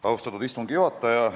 Austatud istungi juhataja!